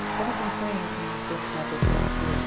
Você não pensou em e continuar tocando